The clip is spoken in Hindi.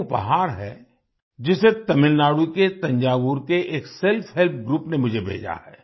एक उपहार है जिसे तमिलनाडु के थंजावुर के एक सेल्फहेल्प ग्रुप ने मुझे भेजा है